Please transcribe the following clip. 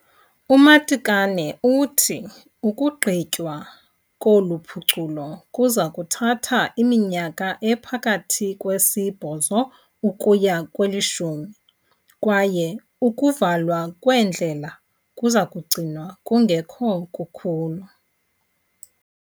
UMatekane uthi ukugqitywa kolu phuculo kuza kuthatha iminyaka ephakathi kwesibhozo ukuya kwelishumi, kwaye ukuvalwa kweendlela kuza kugcinwa kungekho kukhulu.